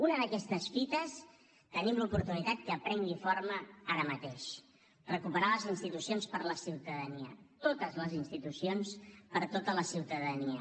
una d’aquestes fites tenim l’oportunitat que prengui forma ara mateix recuperar les institucions per a la ciutadania totes les institucions per a tota la ciutadania